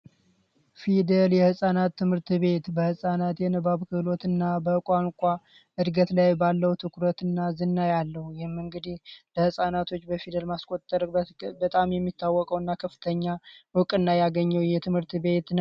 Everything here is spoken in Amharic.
ፊደል የህፃናት ትምህርት ቤት በህፃናት በንባብ ክህሎትና በቋንቋ እድገት ላይ ባለው ትኩረትና ዝንባሌ ይህም እንግዲ ለህጻናቶች በፊደል ማስቆጠር በጣም የሚታወቀውና ከፍተኛ እውቅና ያገኘ ትምህርት ቤት ነው።